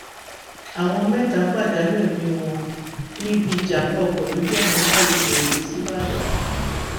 èèyàn mẹta pàdánù ẹmí wọn níbi ìjàmbá ọkọ lójú ọnà márosẹ ẹkọ sìbàdàn